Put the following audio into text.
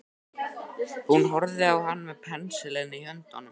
Hún horfði á hann með pensilinn í höndunum.